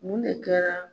Mun de kɛra